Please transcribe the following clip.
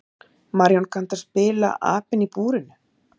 Marjón, kanntu að spila lagið „Apinn í búrinu“?